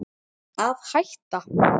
Að hætta?